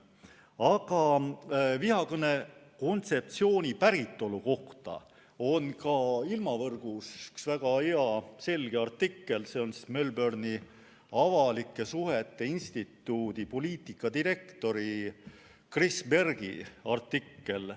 Aga vihakõne kontseptsiooni päritolu kohta on ka ilmavõrgus üks väga hea selge artikkel, see on Melbourne'i Avalike Suhete Instituudi poliitikadirektori Chris Bergi artikkel.